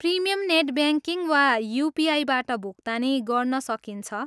Premium net banking वा युपिआईबाट भुक्तानी गर्न सकिन्छ।